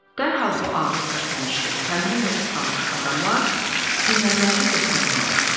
Dərhal bu ağır tərpənişli, tənbəl və islanmış adamlar hünərlərini göstərməyə başladılar.